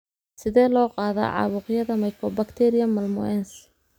Sidee loo qaadaa caabuqyada mycobacterium malmoense?